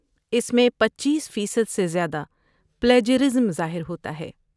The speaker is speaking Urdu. اس میں پچیس فیصد سے زیادہ پلیجرازم ظاہر ہوتا ہے